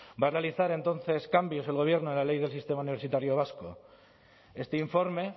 va a realizar entonces cambios el gobierno en la ley del sistema universitario vasco este informe